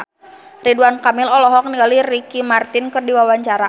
Ridwan Kamil olohok ningali Ricky Martin keur diwawancara